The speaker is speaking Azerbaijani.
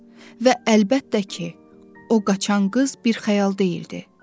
Və əlbəttə ki, o qaçan qız bir xəyal deyildi.